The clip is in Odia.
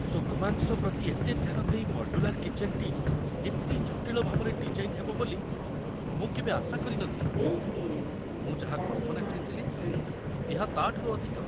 ସୂକ୍ଷ୍ମାଂଶ ପ୍ରତି ଏତେ ଧ୍ୟାନ ଦେଇ ମଡ୍ୟୁଲାର୍ କିଚେନ୍‌ଟି ଏତେ ଜଟିଳ ଭାବରେ ଡିଜାଇନ୍‌ ହେବ ବୋଲି ମୁଁ କେବେ ଆଶା କରି ନ ଥିଲି! ମୁଁ ଯାହା କଳ୍ପନା କରିଥିଲି, ଏହା ତା'ଠାରୁ ଅଧିକ।